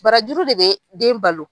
Barajuru de bɛ den balo.